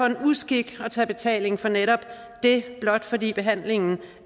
en uskik at tage betaling for netop det blot fordi behandlingen